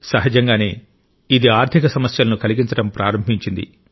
సహజంగానే ఇది ఆర్థిక సమస్యలను కలిగించడం ప్రారంభించింది